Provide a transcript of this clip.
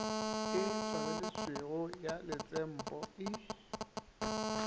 e tswaleletšwego ya letsenpo e